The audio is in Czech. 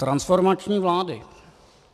Transformační vlády.